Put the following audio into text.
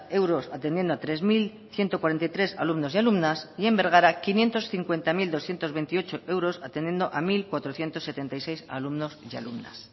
euros atendiendo a tres mil ciento cuarenta y tres alumnos y alumnas y en bergara quinientos cincuenta mil doscientos veintiocho euros atendiendo a mil cuatrocientos setenta y seis alumnos y alumnas